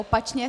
Opačně!